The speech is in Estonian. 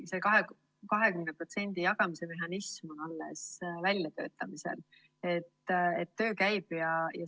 Selle 20% jagamise mehhanism on alles väljatöötamisel, töö käib.